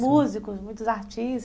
Músicos, muitos artistas.